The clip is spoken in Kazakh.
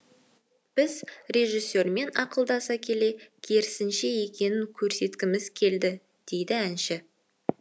біз режиссермен ақылдаса келе керісінше екенін көрсеткіміз келді дейді әнші